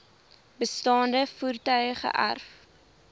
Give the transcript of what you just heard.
bestaande voertuie geërf